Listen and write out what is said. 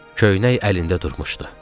Köynək əlində durmuşdu.